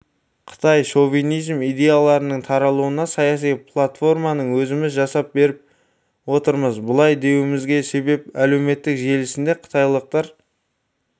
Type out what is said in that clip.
қытай шовинизм идеяларының таралуына саяси платформаны өзіміз жасап беріп отырмыз бұлай деуімізге себеп әлеуметтік желісінде қытайлықтар